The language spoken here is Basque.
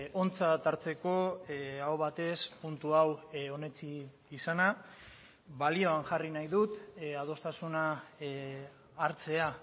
ontzat hartzeko aho batez puntu hau onetsi izana balioan jarri nahi dut adostasuna hartzea